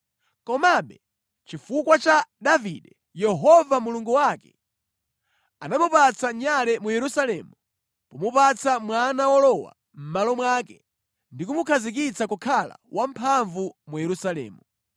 Komabe chifukwa cha Davide, Yehova Mulungu wake anamupatsa nyale mu Yerusalemu pomupatsa mwana wolowa mʼmalo mwake ndi kumukhazikitsa kukhala wamphamvu mu Yerusalemu;